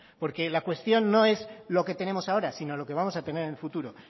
porque la cuestión no es lo que tenemos ahora sino lo que vamos a tener en el futuro